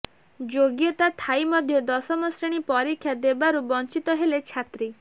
ଯୋଗ୍ୟତା ଥାଇ ମଧ୍ୟ ଦଶମ ଶ୍ରେଣୀ ପରୀକ୍ଷା ଦେବାରୁ ବଞ୍ଚିତ ହେଲେ ଛାତ୍ରୀ